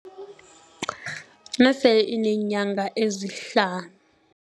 Nasele ineenyanga ezihlanu.